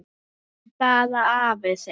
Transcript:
Sjáðu bara afa þinn.